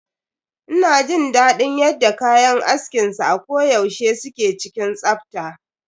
Ina jin daɗin yadda kayan askin sa a ko yaushe suke cikin tsafta.